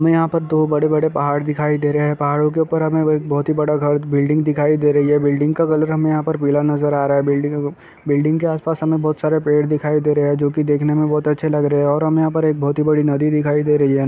यहा बड़े बड़े पहाड़ दिखाई दे रहे हैं पहाड को ऊपर हमें बहुत बड़ा घर बड़ा बिल्डिंग दिखाई दे रही है बिल्डिंग का कलर यहा हमें पिला नजर आ रहा हेबिल्डिंग बिल्डिंग के आसपास हमें बहुत सारे पेड़ दिखाई दे रहे है जो की देखने में बहुत अच्छे लग रहे है और हमें यहां पे एक बहुत बड़ी नदी दिखाई दे रही है।